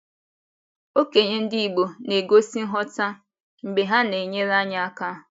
Okenye ndị igbo na - egosi nghọta mgbe ha na - enyere anyị aka.